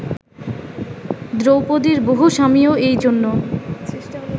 দ্রৌপদীর বহু স্বামীও এই জন্য